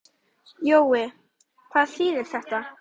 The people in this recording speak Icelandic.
Jói, hvað þýðir þetta?